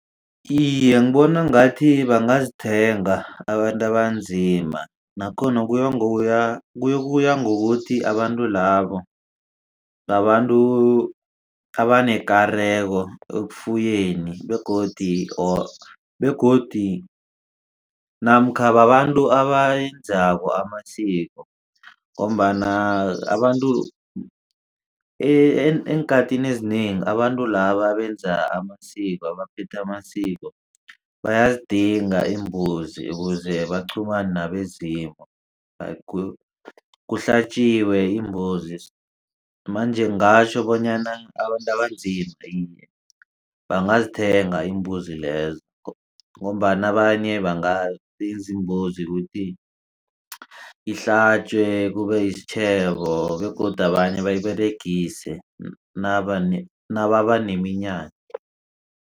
Iye, ngibona ngathi bangazithenga abantu abanzima nakhona kuya ngokuya kuyokuya ngokuthi abantu labo babantu abanekareko ekufuyeni begodu namkha babantu abayenzako amasiko ngombana abantu eenkhathini ezinengi abantu laba abenza amasiko abaphetha amasiko bayazidinga iimbuzi ukuze baqhumane nabezimu. Kuhlatjiwe imbuzi manje ngingatjho bonyana abantu abanzima iye bangazithenga imbuzi lezo ngombana abanye bangabiza imbuzi ukuthi ihlatjwe kube yisitjhebo begodu abanye bayiberegise nababa neminyanya.